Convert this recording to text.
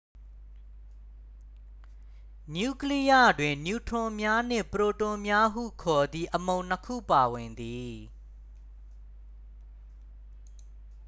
နျူကလိယတွင် နျူထရွန်များနှင့် ပရိုတွန်များဟုခေါ်သည့် အမှုန်နှစ်ခုပါဝင်သည်